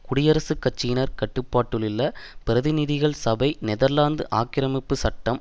குடியரசுக்கட்சியினர் கட்டுப்பாட்டிலுள்ள பிரதிநிதிகள் சபை நெதர்லாந்து ஆக்கிரமிப்பு சட்டம்